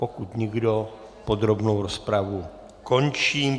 Pokud nikdo, podrobnou rozpravu končím.